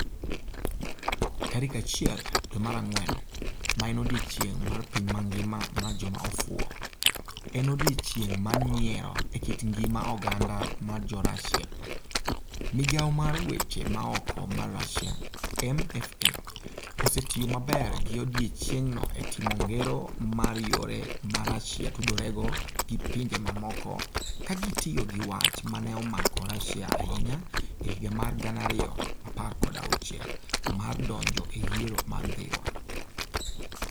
Tarik 1 dwe mara ngwen, ma en odiechieng' mar piny mangima mar joma ofuwo - en "odiechieng' mar nyiero" e kit ngima oganda mar Jo-Russia - Migawo mar Weche Maoko mar Russia (MFA) osetiyo maber gi odiechieng'no e timo ngero mar yore ma Russia tudorego gi pinje mamoko, ka gitiyo gi wach ma ne omako Russia ahinya e higa mar 2016 mar donjo e yiero mar Dhiwa.